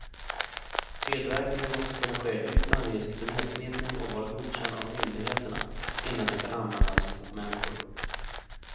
Tillverkningen måste kunna ske utan risk för nedsmittning och vara godkänd av myndigheterna innan den kan användas på människor.